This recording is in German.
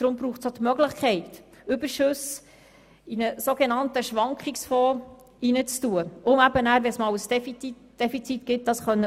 Deshalb braucht es auch die Möglichkeit, Überschüsse in einen sogenannten Schwankungsfonds zu geben, um ein allfälliges Defizit auffangen zu können.